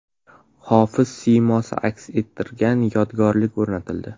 Hofiz siymosi aks ettirilgan yodgorlik o‘rnatildi.